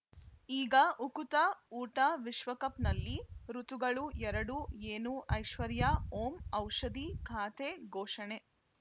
ಈಗ ಉಕುತ ಊಟ ವಿಶ್ವಕಪ್‌ನಲ್ಲಿ ಋತುಗಳು ಎರಡು ಏನು ಐಶ್ವರ್ಯಾ ಓಂ ಔಷಧಿ ಖಾತೆ ಘೋಷಣೆ